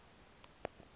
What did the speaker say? elo wonga eli